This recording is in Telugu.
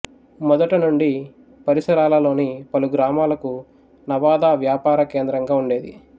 మొదట నుండి పరిసరాలలోని పలు గ్రామాలకు నవాదా వ్యాపారకేంద్రంగా ఉండేది